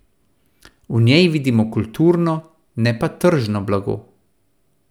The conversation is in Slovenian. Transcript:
V njej vidimo kulturno, ne pa tržno blago.